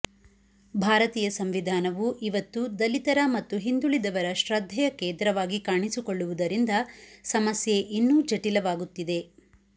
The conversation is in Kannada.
ಭಾರತೀಯ ಸಂವಿಧಾನವು ಇವತ್ತು ದಲಿತರ ಮತ್ತು ಹಿಂದುಳಿದವರ ಶ್ರದ್ಧೆಯ ಕೇಂದ್ರವಾಗಿ ಕಾಣಿಸಿಕೊಳ್ಳುವುದರಿಂದ ಸಮಸ್ಯೆ ಇನ್ನೂ ಜಟಿಲವಾಗುತ್ತಿದೆ